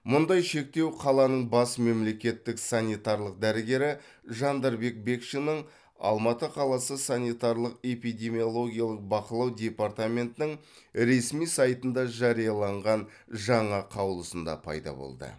мұндай шектеу қаланың бас мемлекеттік санитарлық дәрігері жандарбек бекшиннің алматы қаласы санитарлық эпидемиологиялық бақылау департаментінің ресми сайтында жарияланған жаңа қаулысында пайда болды